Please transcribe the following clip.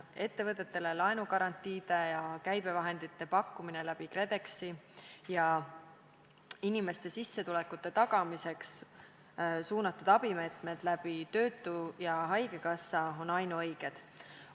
Ettevõtetele laenugarantiide ja käibevahendite pakkumine läbi KredExi ning inimeste sissetulekute tagamiseks suunatud abimeetmed läbi töötukassa ja haigekassa on ainuõiged.